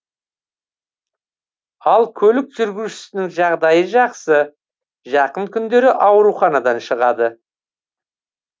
ал көлік жүргізушісінің жағдайы жақсы жақын күндері ауруханадан шығады